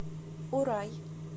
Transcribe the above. урай